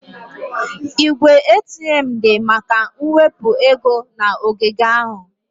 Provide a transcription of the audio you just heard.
Igwe ATM dị maka mwepu ego na ogige ahụ.